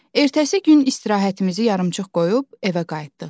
Ertəsi gün istirahətimizi yarımçıq qoyub evə qayıtdıq.